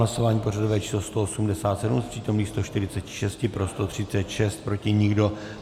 Hlasování pořadové číslo 187, z přítomných 146 pro 136, proti nikdo.